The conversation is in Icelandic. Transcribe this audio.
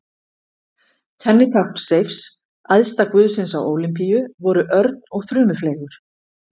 Kennitákn Seifs, æðsta guðsins á Ólympíu, voru örn og þrumufleygur.